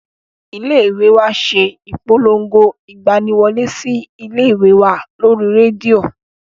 Ilé ìwé wa ṣe ìpolongo ìgbani wọlé sí ilé ìwé wa lórí rédíò